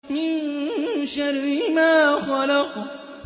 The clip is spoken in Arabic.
مِن شَرِّ مَا خَلَقَ